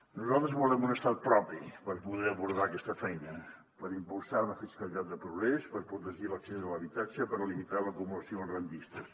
nosaltres volem un estat propi per poder abordar aquesta feina per impulsar una fiscalitat de progrés per protegir l’accés a l’habitatge per limitar l’acumulació dels rendistes